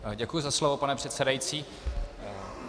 Děkuji za slovo, pane předsedající.